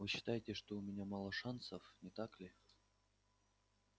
вы считаете что у меня мало шансов не так ли